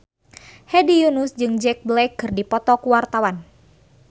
Hedi Yunus jeung Jack Black keur dipoto ku wartawan